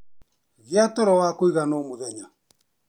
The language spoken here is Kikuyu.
Gĩa toro wa kũigana o mũthenya.